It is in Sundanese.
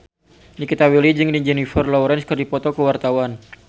Nikita Willy jeung Jennifer Lawrence keur dipoto ku wartawan